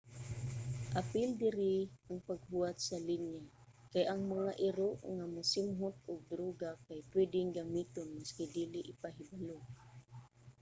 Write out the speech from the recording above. apil diri ang paghuwat sa linya kay ang mga iro nga mosimhot og druga kay pwedeng gamiton maski dili ipahibalo